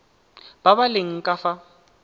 ba ba leng ka fa